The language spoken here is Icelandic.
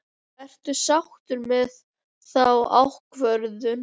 Ertu sáttur með þá ákvörðun?